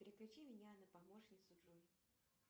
переключи меня на помощницу джой